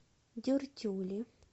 дюртюли